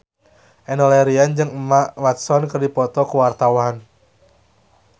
Enno Lerian jeung Emma Watson keur dipoto ku wartawan